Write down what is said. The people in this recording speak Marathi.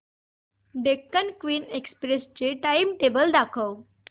डेक्कन क्वीन एक्सप्रेस चे टाइमटेबल दाखव